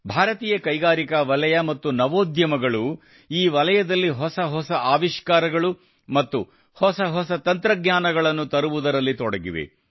ಭಾರತೀಯ ಕೈಗಾರಿಕಾ ವಲಯ ಮತ್ತು ನವೋದ್ಯಮಗಳು ಈ ವಲಯದಲ್ಲಿ ಹೊಸ ಹೊಸ ಆವಿಷ್ಕಾರಗಳು ಮತ್ತು ಹೊಸ ಹೊಸ ತಂತ್ರಜ್ಞಾನಗಳನ್ನು ತರುವುದರಲ್ಲಿ ತೊಡಗಿವೆ